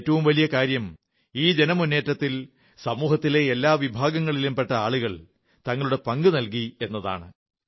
ഏറ്റവും വലിയ കാര്യം ഈ ജനമുന്നേറ്റത്തിൽ സമൂഹത്തിലെ എല്ലാ വിഭാഗങ്ങളിലും പെട്ട ആളുകൾ തങ്ങളുടെ പങ്കു നൽകി എന്നതാണ്